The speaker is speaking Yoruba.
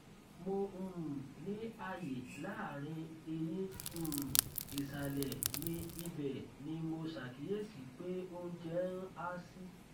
mo um ní àyè láàárín eyín um ìsàlẹ mi ibẹ ni mo ṣàkíyèsí pé oúnjẹ ń há sí